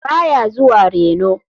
Ba ya zuwa reno.